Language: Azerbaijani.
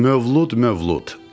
Mövlud, Mövlud.